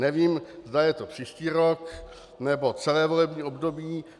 Nevím, zda je to příští rok, nebo celé volební období.